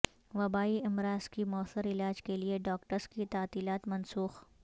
وبائی امراض کے موثر علاج کیلئے ڈاکٹرس کی تعطیلات منسوخ